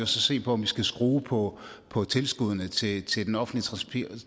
se på om vi skal skrue på på tilskuddene til til den offentlige